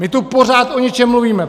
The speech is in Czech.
My tu pořád o něčem mluvíme.